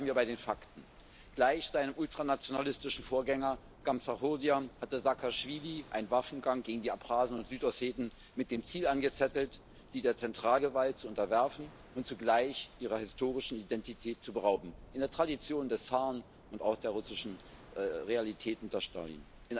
Bleiben wir bei den Fakten Gleich seinem ultranationalistischen Vorgänger Gamsachurdia hatte Saakaschwili einen Waffengang gegen die Abchasen und Südosseten mit dem Ziel angezettelt, sie der Zentralgewalt zu unterwerfen und zugleich ihrer historischen Identität zu berauben in der Tradition des Zaren und auch der russischen Realität unter Stalin.